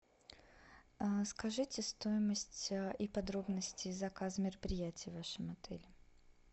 скажите стоимость и подробности заказа мероприятий в вашем отеле